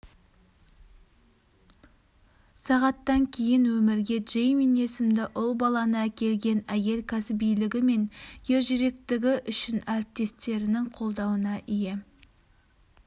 сағаттан кейін өмірге джеймин есімді ұл баланы әкелген әйел кәсібилігі мен ержүректігі үшін әріптестерінің қолдауына ие